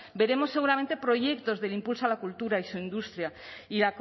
veremos seguramente proyectos del impulso a la cultura y su industria y